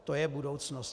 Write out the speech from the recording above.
To je budoucnost.